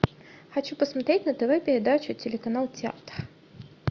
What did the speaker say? хочу посмотреть на тв передачу телеканал театр